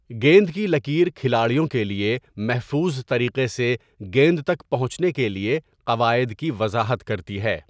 گیند کی لکیر کھلاڑیوں کے لیے محفوظ طریقے سے گیند تک پہنچنے کے لیے قواعد کی وضاحت کرتی ہے۔